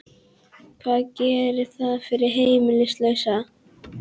Hvað gerir það fyrir heimilislausa?